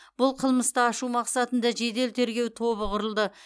бұл қылмысты ашу мақсатында жедел тергеу тобы құрылды